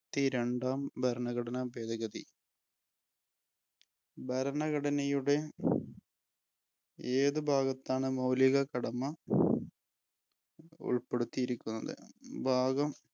ത്തി രണ്ടാം ഭരണഘടനാ ഭേദഗതി. ഭരണഘടനടനയുടെ ഏത് ഭാഗത്താണ് മൗലിക കടമ ഉൾപ്പെടുത്തിയിക്കുന്നത്?